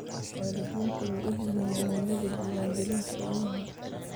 Waalidiintu way ogyihiin muhiimadda diiwaangelinta ilmaha.